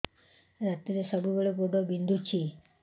ରାତିରେ ସବୁବେଳେ ଗୋଡ ବିନ୍ଧୁଛି